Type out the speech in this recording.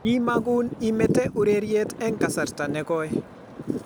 Kimagun imete ureriet eng kasarta ne goi